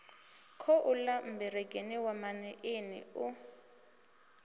khouḽa mmbengeni wa maṋiini u